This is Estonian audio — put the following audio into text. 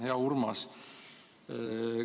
Hea Urmas!